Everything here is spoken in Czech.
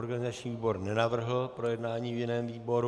Organizační výbor nenavrhl projednání v jiném výboru.